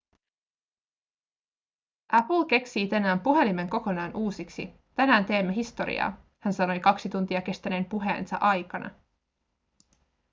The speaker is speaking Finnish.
apple keksii tänään puhelimen kokonaan uusiksi tänään teemme historiaa hän sanoi kaksi tuntia kestäneen puheensa aikana